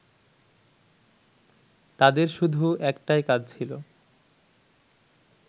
তাঁদের শুধু একটাই কাজ ছিল